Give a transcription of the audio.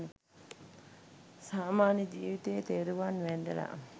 සාමාන්‍ය ජීවිතයේ තෙරුවන් වැඳලා